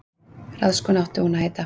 Ráðskona átti hún að heita.